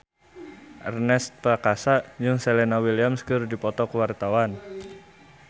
Ernest Prakasa jeung Serena Williams keur dipoto ku wartawan